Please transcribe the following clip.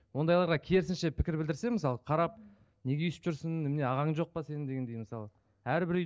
ондайларға керісінше пікір білдірсе мысалы қарап неге өйстіп жүрсің немене ағаң жоқ па сенің дегендей мысалы әрбір үй